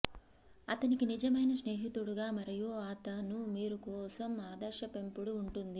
అతనికి నిజమైన స్నేహితుడుగా మరియు అతను మీరు కోసం ఆదర్శ పెంపుడు ఉంటుంది